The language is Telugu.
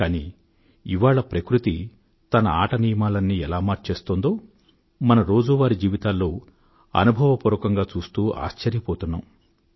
కానీ ఇవాళ ప్రకృతి తన ఆట నియమాలన్నీ ఎలా మార్చేస్తోందో మన రోజూవారీ జీవితాల్లో అనుభవపూర్వకంగా చూస్తూ ఆశ్చర్యపోతున్నాం